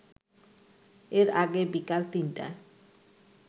এর আগে বিকাল ৩টায়